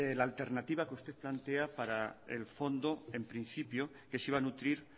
la alternativa que usted plantea para el fondo en principio que se iba a nutrir